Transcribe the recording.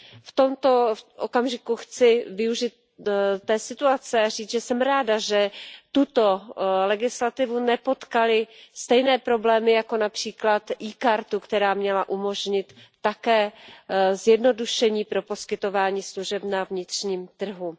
V tomto okamžiku chci využít té situace a říct, že jsem ráda, že tuto legislativu nepotkaly stejné problémy jako například e kartu, která měla umožnit také zjednodušení pro poskytování služeb na vnitřním trhu.